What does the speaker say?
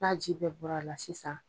N'a ji bɛɛ bɔra a la sisan